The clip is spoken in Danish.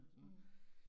Mh